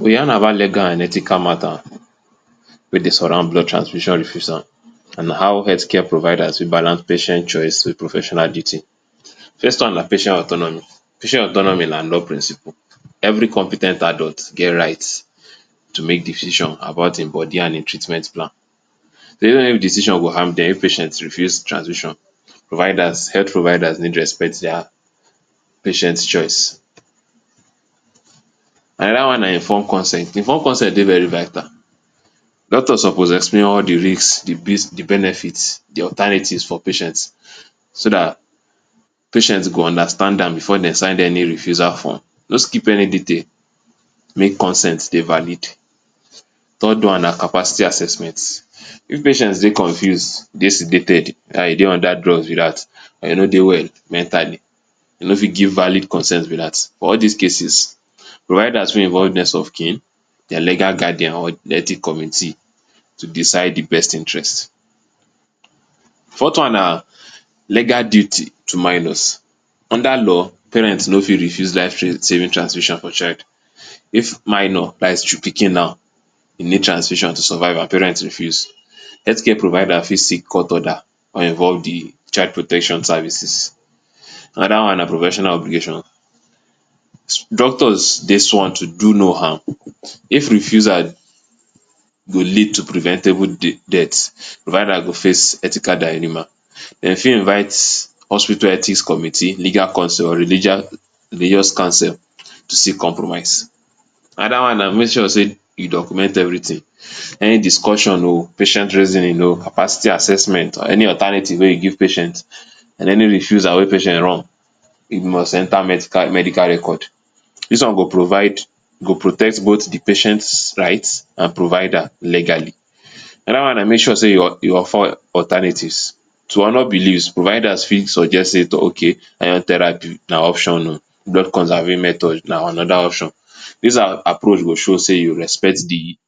We yarnn about legal and ethical matta wey dey surround blood transfusion refusal, and how healthcare providers fit balance patient choice wit professional duty. First one na patient autonomy. Patient autonomy na law principle. Every compe ten t adult get right to make decisions about im body and im treatment plan. decisions go harm dem, if patients refuse transfusion, providers health providers need respect dia patients choice. Anoda one na informed consent. Informed consent dey very vital. Doctors suppose explain all di risks, di benefits, di alternatives for patients, so dat patients go understand am bifor dem sign any refusal form. No skip any detail. Make consent dey valid. Third one na capacity assessment. If patients dey confused, dey sedated — dats e dey under drugs be dat — e no dey well mentally. E no fit give valid consent be dat. For all dis cases, providers fit involve next of kin, dia legal guardian or di ethic community to decide di best interest. Fourth one na legal duty to minors. Under law, parents no fit refuse life-saving transfusion for pikin. If minor — dats pikin now — e need transfusion to survive, and parents refuse, healthcare providers fit seek court order or involve di child protection services. Anoda one na professional obligation. Doctors dey sworn to do no harm. If refusal go lead to preventable deaths, providers go face ethical dilimmas. Dem fit invite hospital ethics committee, legal consol or religa religious counsel to seek compromise. Anoda one na make sure say you document everytin. Any discussion[um], patient reasoning um, capacity assessment or any alternative wey you give patient and any refusal wey patient wrong, e must enta medical record. Dis one go provide go protect both di patient rights and provider legally. Anoda one na make sure say you alternatives. To honour beliefs, providers fit suggest say, [um]okay, iron therapy na option um, blood conserving method na anoda option. Dis a-approach go show say you respect di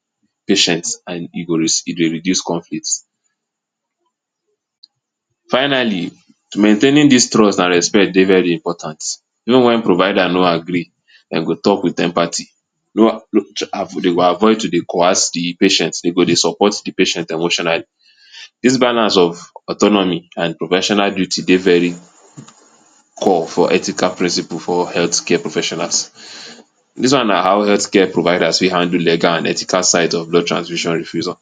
patient and e go reduce conflict. Finally, maintaining dis trust and respect dey very important. Even wen providers no agree, dem go talk wit empathy. go avoid to coerce di patient. Dem go dey support di patient emotionally. Dis banners of autonomy and professional duty dey very core for ethical principles for healthcare professionals. Dis na how healthcare providers fit handle legal and ethical site of blood transfusion refusal.